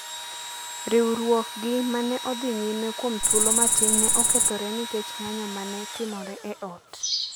riwruokgi ma ne odhi nyime kuom thuolo matin ne okethore nikech ng’anjo ma ne timore e ot.